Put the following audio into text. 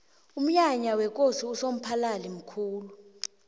umnyanya wekosi usomphalili mkhulu